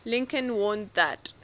lincoln warned that